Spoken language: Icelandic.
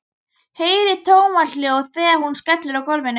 Heyri tómahljóð þegar hún skellur á gólfinu.